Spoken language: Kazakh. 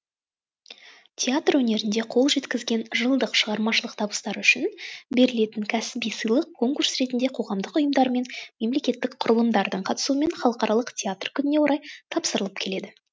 театр өнерінде қол жеткізген жылдық шығармашылық табыстары үшін берілетін кәсіби сыйлық конкурс ретінде қоғамдық ұйымдар мен мемлекеттік құрылымдардың қатысуымен халықаралық театр күніне орай тапсырылып келеді